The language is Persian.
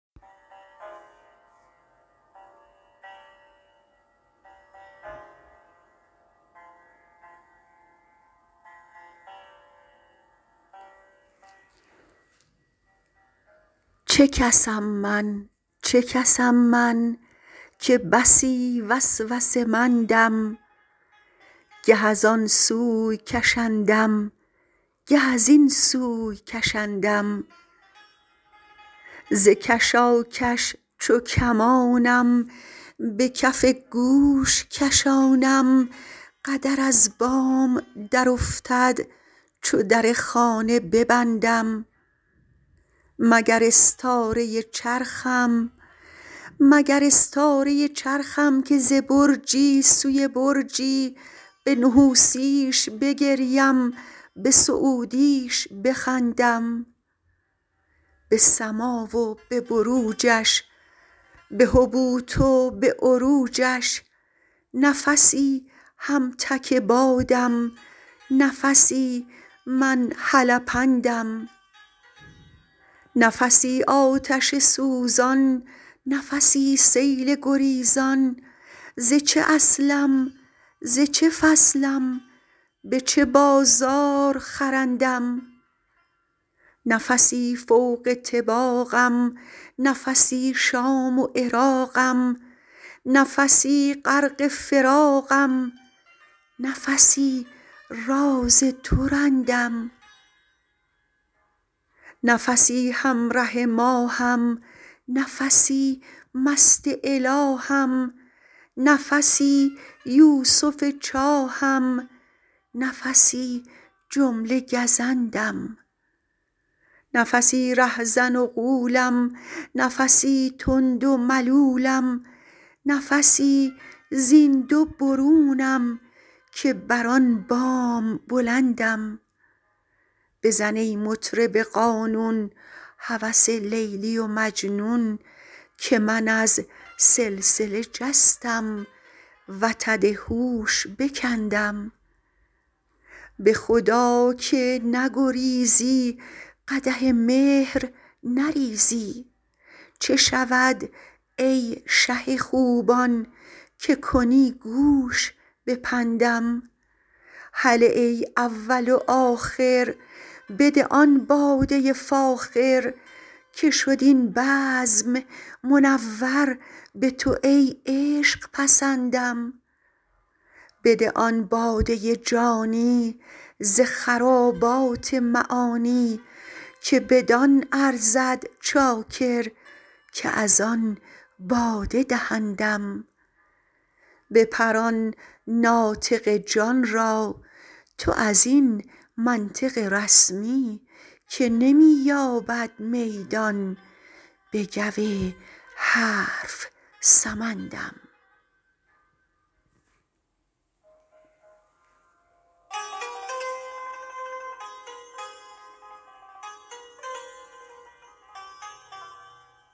چه کس ام من چه کس ام من که بسی وسوسه مندم گه از آن سوی کشندم گه از این سوی کشندم ز کشاکش چو کمان ام به کف گوش کشانم قدر از بام درافتد چو در خانه ببندم مگر استاره ی چرخم که ز برجی سوی برجی به نحوسی ش بگریم به سعودی ش بخندم به سما و به بروجش به هبوط و به عروجش نفسی هم تک بادم نفسی من هلپندم نفسی آتش سوزان نفسی سیل گریزان ز چه اصلم ز چه فصلم به چه بازار خرندم نفسی فوق طباقم نفسی شام و عراقم نفسی غرق فراقم نفسی راز تو رندم نفسی هم ره ماه م نفسی مست اله م نفسی یوسف چاه م نفسی جمله گزندم نفسی ره زن و غولم نفسی تند و ملولم نفسی زین دو برونم که بر آن بام بلندم بزن ای مطرب قانون هوس لیلی و مجنون که من از سلسله جستم وتد هوش بکندم به خدا که نگریزی قدح مهر نریزی چه شود ای شه خوبان که کنی گوش به پندم هله ای اول و آخر بده آن باده ی فاخر که شد این بزم منور به تو ای عشق پسندم بده آن باده ی جانی ز خرابات معانی که بدان ارزد چاکر که از آن باده دهندم بپران ناطق جان را تو از این منطق رسمی که نمی یابد میدان بگو حرف سمندم